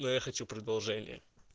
но я хочу продолжение